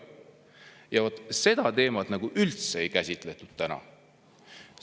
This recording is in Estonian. Ja vot seda teemat ei käsitletud täna üldse.